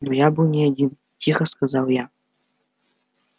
но я был не один тихо сказал я